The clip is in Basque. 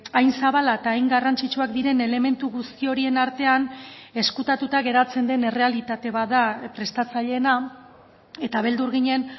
hain zabala eta hain garrantzitsuak diren elementu guzti horien artean ezkutatuta geratzen den errealitate bat da prestatzaileena eta beldur ginen